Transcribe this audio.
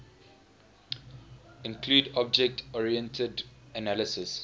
include object oriented analysis